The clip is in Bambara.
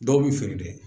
Dɔw bi feere kɛ